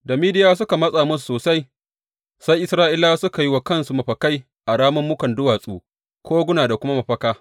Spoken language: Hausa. Da Midiyawa suka matsa musu sosai, sai Isra’ilawa suka yi wa kansu mafakai a rammukan duwatsu, kogona da kuma mafaka.